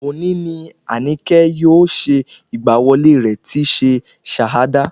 Òní ni Àníkẹ́ yóò ṣe ìgbà wọlé rẹ̀ tíí ṣe Shahada